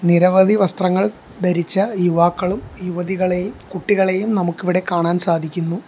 നിരവധി വസ്ത്രങ്ങൾ ധരിച്ച യുവാക്കളും യുവതികളെയും കുട്ടികളെയും നമുക്ക് ഇവിടെ കാണാൻ സാധിക്കുന്നു.